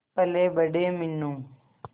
पलेबड़े Meenu